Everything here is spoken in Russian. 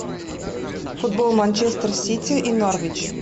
футбол манчестер сити и норвич